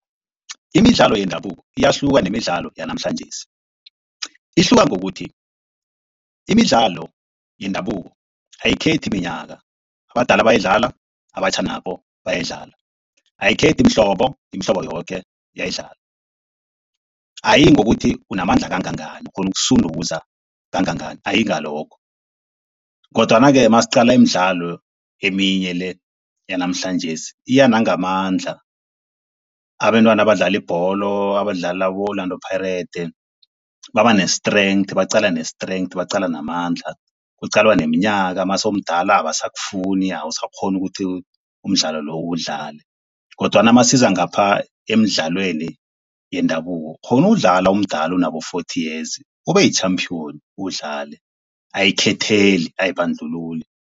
Imidlalo yendabuko iyahluka nemidlalo yanamhlanjesi. Ihluka ngokuthi, imidlalo yendabuko ayikhethi minyaka, abadala bayayidlala, abatjha nabo bayayidlala. Ayikhethi mihlobo, imihlobo yoke iyayidlala. Ayiyi ngokuthi unamandla kangangani ukghona ukusunduza kangangani. Ayiyi ngalokho kodwana-ke masiqala imidlalo eminye le yanamhlanjesi iya nangamandla. Abentwana abadlala ibholo abadlalela abo-Orlando Pirates baba ne-strength, baqala ne-strength, baqala namandla, kuqalwa neminyaka mawuse umdala abasakufuni. Awusakghoni ukuthi umdlalo lo uwudlale kodwana masiza ngapha emidlalweni yendabuko. Ukghona ukuwudlala umdala unabo forty years ube yi-champion uwudlale. Ayikhetheli, ayibandlululi.